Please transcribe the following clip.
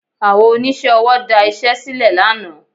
Àwọn oníṣẹ́ ọwọ́ da iṣẹ́ sílẹ̀ lánàá